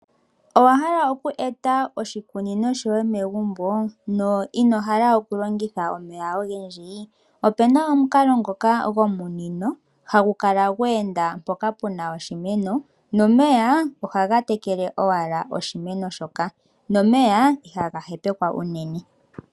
Owa hala oku eta oshikunino shoye megumbo no ino hala okulongitha omeya ogendji opu na omukalo ngoka gomunino hagu kala gwe enda mpoka pu na oshimeno nomeya ohaga tekele owala oshimeno shoka nomeya ihaga hepekwa.